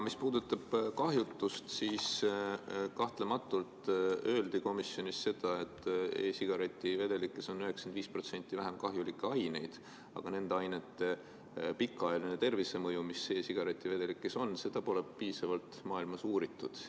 Mis puudutab kahjutust, siis kahtlematult öeldi komisjonis seda, et e-sigareti vedelikes on 95% vähem kahjulikke aineid, aga e-sigareti vedelikes olevate ainete pikaajalist mõju tervisele pole maailmas piisavalt uuritud.